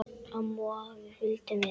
Amma og afi fylgdu með.